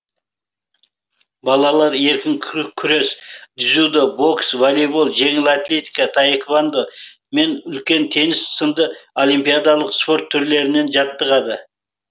балалар еркін күрес дзюдо бокс волейбол жеңіл атлетика таеквандо мен үлкен теннис сынды олимпиадалық спорт түрлерінен жаттығады